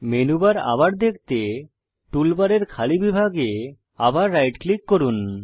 menu bar আবার দেখতে টুলবারের খালি বিভাগে আবার রাইট ক্লিক করুন